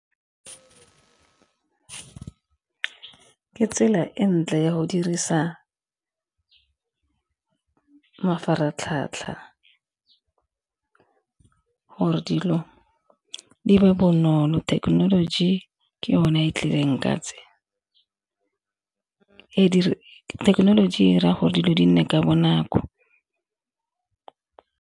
Ke fa ke tsela entle ya go dirisa mafaratlhatlha gore dilo di be bonolo thekenoloji ke yone e tlileng ka , thekenoloji 'ira gore dilo di nne ka bonako.